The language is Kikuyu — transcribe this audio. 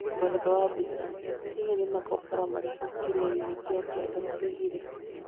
Mũeretho wa mbica: hihi nĩ makobora marĩkũ kĩrĩanĩ ya kianda ĩigĩire